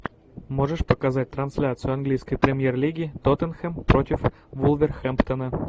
можешь показать трансляцию английской премьер лиги тоттенхэм против вулверхэмптона